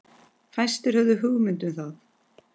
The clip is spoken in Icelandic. Fæstir höfðu hugmynd um það.